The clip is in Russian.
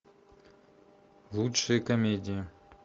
лучшие комедии